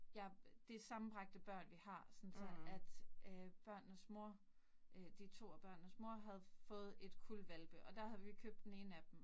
Ja, det sammenbragte børn vi har, sådan så at øh børnenes mor, øh de 2 af børnenes mor havde fået et kuld hvalpe, og der havde vi købte den ene af dem